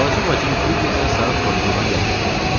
Balaca bacım Fibbi isə saat 9-dan yatmış olardı.